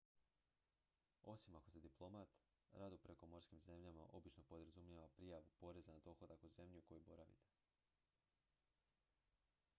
osim ako ste diplomat rad u prekomorskim zemljama obično podrazumijeva prijavu poreza na dohodak u zemlji u kojoj boravite